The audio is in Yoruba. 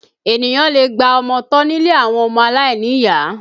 Ènìyàn lè gba ọmọ tọ́ nílé àwọn ọmọ aláìníyàá